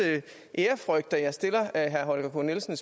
ærefrygt at jeg stiller herre holger k nielsen